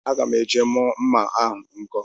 Agam eje mu mma ahu nko